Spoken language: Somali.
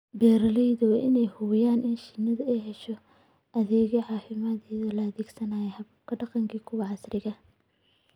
Beeralayda waa in ay hubiyaan in shinnidu ay hesho adeegyo caafimaad iyada oo la adeegsanayo hababka dhaqanka iyo kuwa casriga ah.